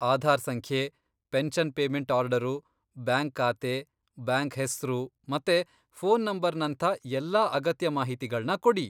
ಆಧಾರ್ ಸಂಖ್ಯೆ, pension payment order, bank ಖಾತೆ, bank ಹೆಸ್ರು ಮತ್ತೆ ಫೋನ್ ನಂಬರ್ನಂಥ ಎಲ್ಲ ಅಗತ್ಯ ಮಾಹಿತಿಗಳ್ನ ಕೊಡಿ.